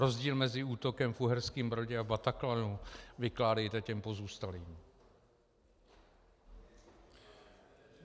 Rozdíl mezi útokem v Uherském Brodě a Bataclanu vykládejte těm pozůstalým.